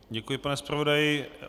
Děkuji, pane zpravodaji.